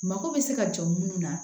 Mako bɛ se ka jɔ minnu na